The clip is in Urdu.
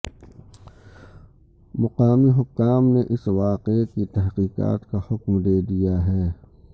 مقامی حکام نے اس واقعے کی تحقیقات کا حکم دے دیا ہے